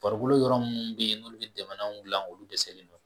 Farokolo yɔrɔ minnu bɛ yen n'olu bɛ dɛmɛnanw dilan olu dɛsɛlen don